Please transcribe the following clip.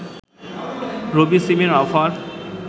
রবি সিমের অফার